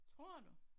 Tror du?